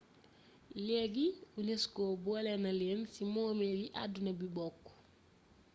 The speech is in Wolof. leegi unesco boolena leen ci moomeel yi àdduna bi bokk